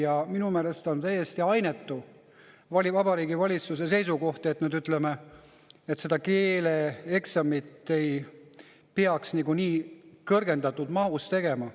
Ja minu meelest oli täiesti ainetu Vabariigi Valitsuse seisukoht, et seda keeleeksamit ei peaks niikuinii kõrgendatud mahus tegema.